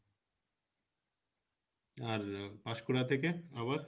আর পাসপুরা থেকে আবার?